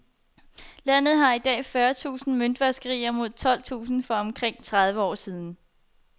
Landet har i dag fyrre tusind møntvaskerier mod tolv tusind for omkring tredive år siden.